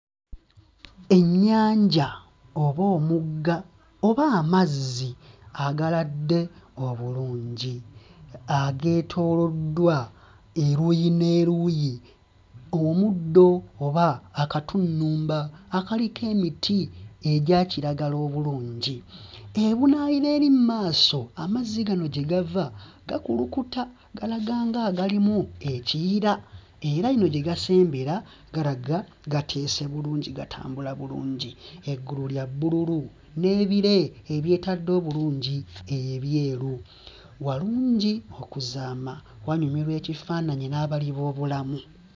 Ennyanja oba omugga oba amazzi agaladde obulungi, ageetooloddwa eruuyi n'eruuyi, omuddo oba akatunnumba akaliko emiti egya kiragala obulungi, Ebunaayira eri mmaaso amazzi gano gye gava gakuluta galaga nga agalimu ekiyira, era eno gye gasembera galaga gateese bulungi gatambula bulungi, eggulu lya bbululu n'ebire ebyetadde obulungi ebyeru, walungi okuzaama wanyumirwa ekifaananyi n'abali b'obulamu.